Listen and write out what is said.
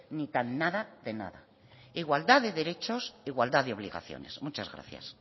ni tan nada de nada igualdad de derechos igualdad de obligaciones muchas gracias